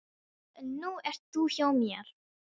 En nú ert þú hjá mér.